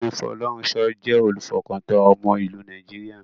Ọ̀gbẹ́ni Folorunsho jẹ́ olùfọkàntán ọmọ ìlú Nàìjíríà.